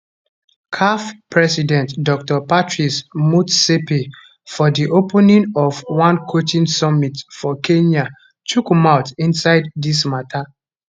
caf president dr patrice motsepe for di opening of one coaching summit for kenya chook mouth inside dis mata